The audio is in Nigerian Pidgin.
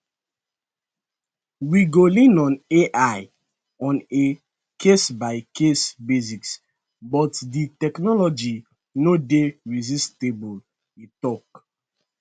we go lean on [ai] on a casebycase basis but di technology no dey resistible e tok